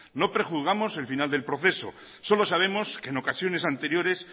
no prejuzgamos el final del proceso solo sabemos que en ocasiones anteriores